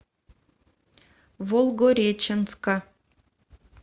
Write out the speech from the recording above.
волгореченска